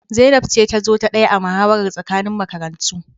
Zainab ce ta zo ta daya a muhawarar tsakanin makarantu